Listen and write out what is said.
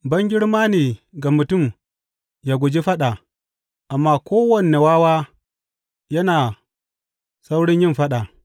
Bangirma ne ga mutum ya guji faɗa, amma kowane wawa yana saurin yin faɗa.